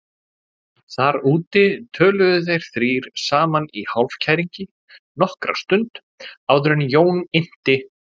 Þar úti töluðu þeir þrír saman í hálfkæringi nokkra stund áður en Jón innti